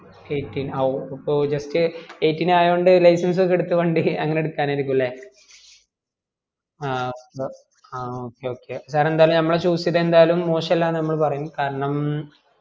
eighteen ഓ അപ്പൊ just eighteen ആയോണ്ട് license ഒക്കെ എടുത്ത് വണ്ടിഅങ്ങനെ എടുക്കാൻ ആയിരിക്കും അല്ലെ